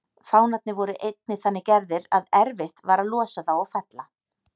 Fánarnir voru einnig þannig gerðir að erfitt var að losa þá og fella.